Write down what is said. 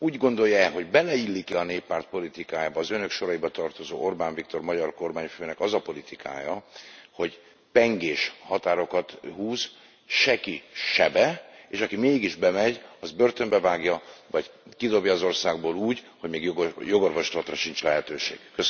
De Ön úgy gondolja e, hogy beleillik a Néppárt politikájába az Önök soraiba tartozó Orbán Viktor magyar kormányfő azon politikája, hogy pengés határokat húz, se ki, se be, és aki mégis bemegy, azt börtönbe vágja, vagy kidobja az országból úgy, hogy még jogorvoslatra sincs lehetősége.